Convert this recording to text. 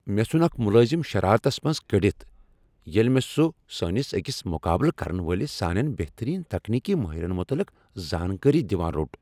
مےٚ ژھن اکھ ملٲزم شرارتس منز کٔڑتھ ییٚلہ مےٚ سہُ سٲنس أکس مقابلہٕ کرن وٲلس سانین بہترین تکنیکی ماہرن متعلق زانکٲری دوان روٚٹ۔